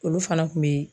Olu fana kun be